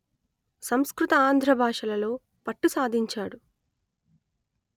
సంస్కృత ఆంధ్ర భాషలలో పట్టు సాధించాడు